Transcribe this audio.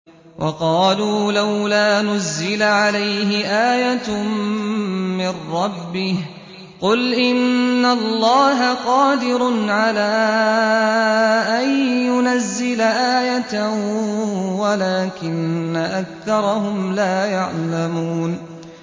وَقَالُوا لَوْلَا نُزِّلَ عَلَيْهِ آيَةٌ مِّن رَّبِّهِ ۚ قُلْ إِنَّ اللَّهَ قَادِرٌ عَلَىٰ أَن يُنَزِّلَ آيَةً وَلَٰكِنَّ أَكْثَرَهُمْ لَا يَعْلَمُونَ